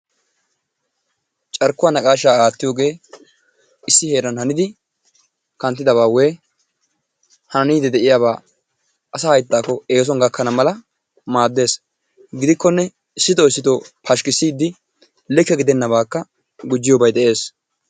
Carkkuwaa naqaashshaa attiyoogee issi heeran haannidi kanttidaba woyikko handdi de'iyaaba asaa hayttaakko eesuwaan gaakkana mala maaddees. Gidikkone issitoo issitoo pashikisiidi likke gidennabaakka gujjiyoobay de'ees.